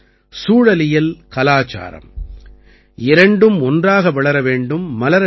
சூழலியல் கலாச்சாரம் இரண்டும் ஒன்றாக வளர வேண்டும் மலர வேண்டும்